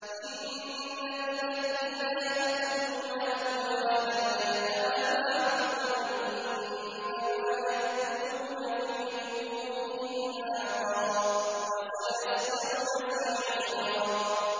إِنَّ الَّذِينَ يَأْكُلُونَ أَمْوَالَ الْيَتَامَىٰ ظُلْمًا إِنَّمَا يَأْكُلُونَ فِي بُطُونِهِمْ نَارًا ۖ وَسَيَصْلَوْنَ سَعِيرًا